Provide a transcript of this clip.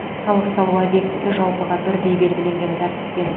салық салу объектісі жалпыға бірдей белгіленген тәртіппен